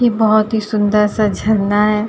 ये बहोत ही सुंदर सा झरना है।